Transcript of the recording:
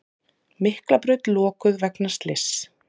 Miklabraut lokuð vegna slyss